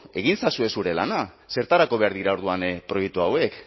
egin ezazue zure lana zertarako behar dira orduan proiektu hauek